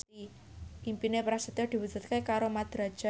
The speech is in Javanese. impine Prasetyo diwujudke karo Mat Drajat